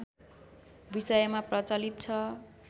विषयमा प्रचलित छ